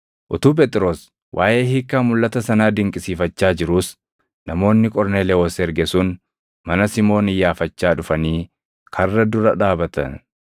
Utuu Phexros waaʼee hiikkaa mulʼata sanaa dinqisiifachaa jiruus namoonni Qorneelewoos erge sun mana Simoon iyyaafachaa dhufanii karra dura dhaabatan.